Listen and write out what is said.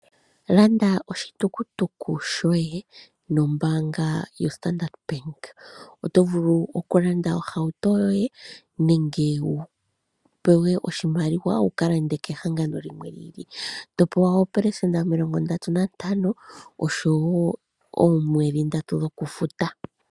Landa oshitukutuku shoye nombaanga yoStandard-Bank. Oto vulu okulanda ohauto yoye nenge wu pewe oshimaliwa wu ka lande kehangano limwe li ili, to pewa oopelesenda omilongo ndatu nantano osho wo oomwedhi ndatu dhokufuta.